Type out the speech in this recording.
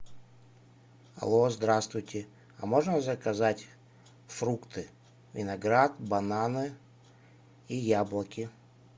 алло здравствуйте а можно заказать фрукты виноград бананы и яблоки